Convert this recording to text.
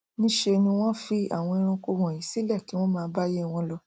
nṣe ni wọn fi àwọn ẹranko wọnyí sílẹ kí wọn máa báíyé wọn lọ